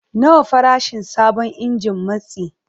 Nawa farashin sabon injin matsi?